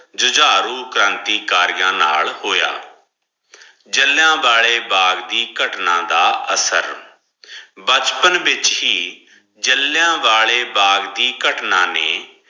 ਜੁਝਾਰੂ ਕ੍ਰਾਂਤੀਕਾਰੀਆਂ ਨਾਲ ਹੋਯਾ ਜਲਿਯਾ ਵਾਲੇ ਬਾਗ ਦੀ ਘਟਨਾ ਦਾ ਅਸਰ ਬਚਪਨ ਵਿਚ ਹੀ ਜਲਿਯਾ ਵਾਲੇ ਬਾਗ ਦੀ ਘਟਨਾ ਨੇ